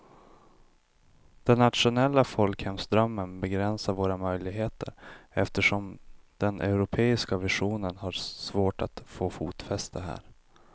Den nationella folkhemsdrömmen begränsar våra möjligheter eftersom den europeiska visionen har svårt att få fotfäste här.